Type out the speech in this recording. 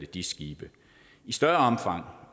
dis skibe i større omfang